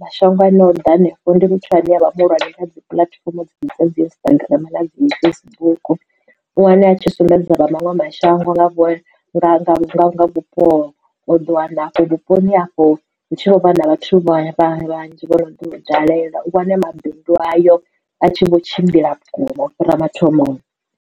mashango a ne o ḓa hanefho ndi muthu ane avha muhulwane kha dzi puḽatifomo dza dzi Instagram na dzi Facebook u wane a tshi sumbedza vha manwe mashango nga nga vhupo o ḓo wana hafho vhuponi afho hu tshi vho vha na vhathu vha ya vha vhanzhi vhono tou dalela u wane mabindu ayo a tshi vho tshimbila vhukuma u fhira mathomoni.